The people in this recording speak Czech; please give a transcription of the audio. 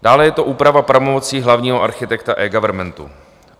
Dále je to úprava pravomocí hlavního architekta eGovernmentu.